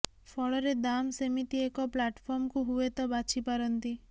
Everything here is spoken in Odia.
ଫଳରେ ଦାମ ସେମିତି ଏକ ପ୍ଲାଟଫର୍ମକୁ ହୁଏତ ବାଛି ପାରନ୍ତି